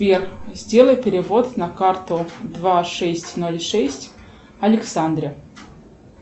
сбер сделай перевод на карту два шесть ноль шесть александре